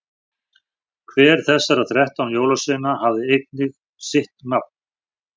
hver þessara þrettán jólasveina hafði einnig sitt nafn